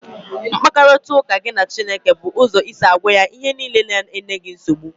Mkparịta ụka gị na Chineke bụ ụzọ isi gwa ya ihe niile na-enye gị nsogbu